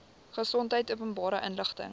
gesondheid openbare inligting